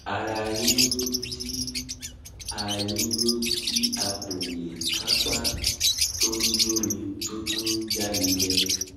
ara yiyun ti a yiyun ti a ko le kapa to n joni to tun n janije